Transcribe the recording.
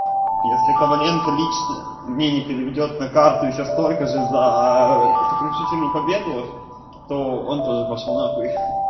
если коваленко лично мне не переведёт на карту ещё столько же за сокрушительную победу то он тоже пошёл нахуй